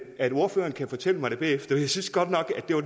at ordføreren kan fortælle mig det bagefter jeg synes godt nok at det var